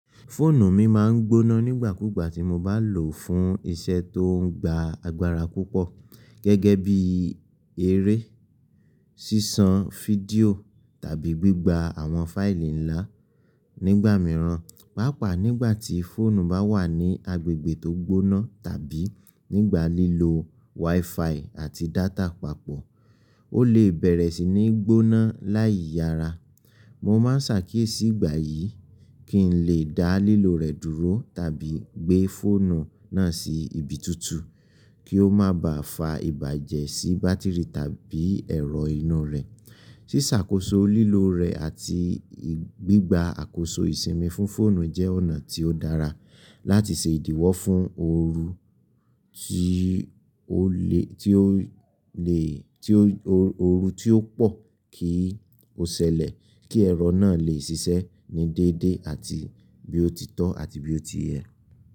Fóònù mi máa ń gbóná nígbàkúgbà tí mo bá lòó fún iṣẹ́ tó ń gba agbára púpọ̀, gẹ́gẹ́ bí eré, ṣíṣan fídíò tàbí gbígba àwọn fáìlì ńlá. Nígbà mìíràn, pàápàá nígbà tí fóònù bá wà ní agbègbè tó gbóná tàbí nígbà lílo wifi àti data papọ̀, ó lè bẹ̀rẹ̀ sí ní gbóná láì yára. Mo máa ń ṣàkíyèsí ìgbà yìí kí n lè dá lílo rẹ̀ dúró tàbí gbé fóònù náà sí ibi tutu kí ó má bà fa ìbàjẹ́ sí bátìrì tàbí ẹ̀rọ inú rẹ̀. Ṣíṣàkóso lílo rẹ̀ àti gbígba àkóso ìsinmi fún fóònù jẹ́ ọ̀nà tí ó dára láti ṣe ìdíwọ́ fún oorun tí ó pọ̀ kí ó ṣẹlẹ̀ kí ẹ̀rọ náà lè ṣiṣẹ́ ní déédéé àti bí ó ti tọ́ àti bí ó ti yẹ.